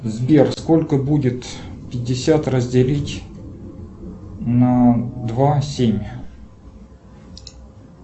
сбер сколько будет пятьдесят разделить на два семь